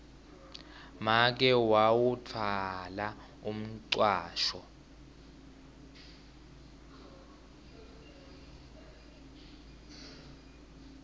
make wawutfwala umcwasho